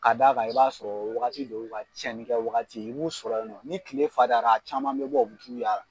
K'a d'a kan i b'a sɔrɔ o wagati de y'u ka tiyɛni kɛ wagati ye. I b'u sɔrɔ yan nɔ. Ni tile fariyara a caman bɛ bɔ u be t'u yaal